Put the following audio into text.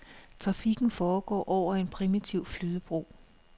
Trafikken foregår over en primitiv flydebro.